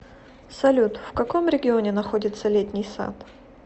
салют в каком регионе находится летний сад